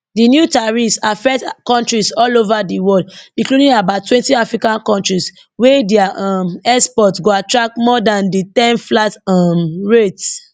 di new tariffs affect kontris all ova di world including abouttwentyafrican kontris wey dia um exports go attract more dan di ten flat um rate